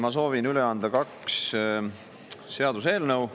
Ma soovin üle anda kaks seaduseelnõu.